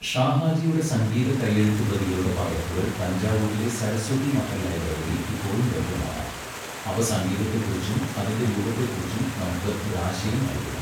ഷാഹാജിയുടെ സംഗീത കൈയെഴുത്തുപ്രതികളുടെ പകർപ്പുകൾ തഞ്ചാവൂരിലെ സരസ്വതി മഹൽ ലൈബ്രറിയിൽ ഇപ്പോഴും ലഭ്യമാണ്, അവ സംഗീതത്തെക്കുറിച്ചും അതിന്റെ രൂപത്തെക്കുറിച്ചും നമുക്ക് ഒരു ആശയം നൽകുന്നു.